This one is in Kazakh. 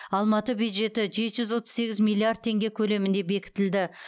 алматы бюджеті жеті жүз отыз сегіз миллиард теңге көлемінде бекітілді